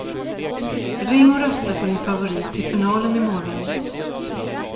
Ring och rösta på din favorit till finalen i morgon.